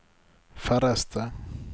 færreste